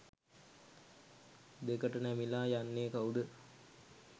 දෙකට නැමිලා යන්නේ කවුද?